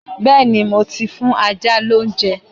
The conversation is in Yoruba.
Bẹ́́ẹ̀ni, mo ti fún ajá lóúnjẹ